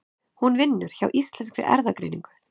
Hún vinnur hjá Íslenskri erfðagreiningu.